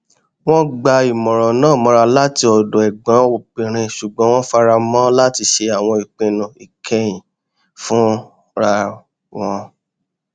wọn gba ìmọràn náà mọra láti ọdọ ẹgbọn obìnrin ṣugbọn wọn fara mọ láti ṣe àwọn ìpinnu ìkẹyìn fúnra wọn